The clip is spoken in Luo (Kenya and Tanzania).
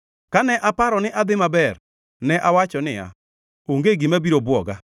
Kane aparo ni adhi maber, ne awacho niya, “Onge gima biro bwoga.”